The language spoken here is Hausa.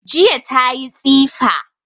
Jiya tayi tsifa